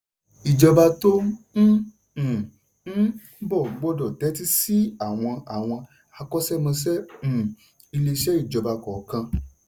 ìjọba tó um ń um bọ̀ gbọ́dọ̀ tẹ́tí sí àwọn àwọn akọ́ṣẹ́mọṣẹ́ um iléeṣẹ́ ìjọba kọ̀ọ̀kan.